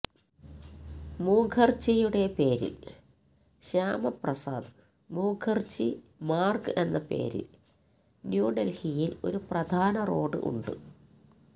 മുഖർജിയുടെ പേരിൽ ശ്യാമ പ്രസാദ് മുഖർജി മാർഗ് എന്ന പേരിൽ ന്യൂ ഡൽഹിയിൽ ഒരു പ്രധാന റോഡ് ഉണ്ട്